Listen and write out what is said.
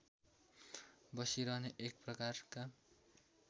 बसिरहने एक प्रकारका